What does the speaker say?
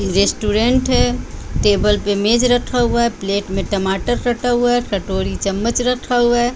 Restaurant है table पे मेज रखा हुआ है प्लेट में टमाटर कटा हुआ है कटोरी चम्मच रखा हुआ है।